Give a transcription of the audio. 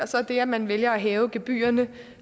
så det at man vælger at hæve gebyrerne